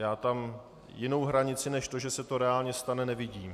Já tam jinou hranici než to, že se to reálně stane, nevidím.